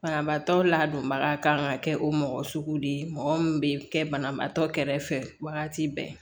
Banabaatɔ ladonbaga kan ka kɛ o mɔgɔ sugu de ye mɔgɔ min bɛ kɛ banabaatɔ kɛrɛfɛ wagati bɛɛ